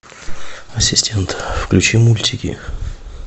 ассистент включи мультики